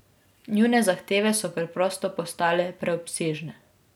Njune zahteve so preprosto postale preobsežne.